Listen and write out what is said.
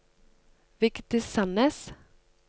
Vigdis Sandnes